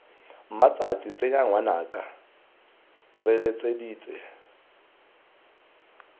mmatšhatšhi tshenye ngwanaka re letseditse